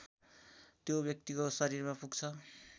त्यो व्यक्तिको शरीरमा पुग्छ